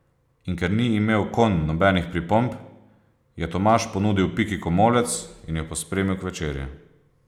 In ker ni imel konj nobenih pripomb, je Tomaž ponudil Piki komolec in jo pospremil k večerji.